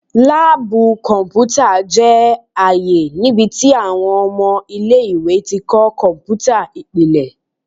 Laabu kọnputa jẹ aaye nibiti awọn ọmọ ile-iwe ti kọ kọnputa ipilẹ